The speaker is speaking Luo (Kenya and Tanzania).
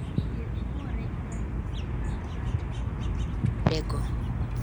Thieth luore gi ranyisi mag ng'ato owuon moyude go